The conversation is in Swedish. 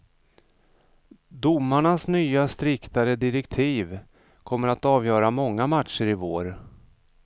Domarnas nya striktare direktiv kommer att avgöra många matcher i vår.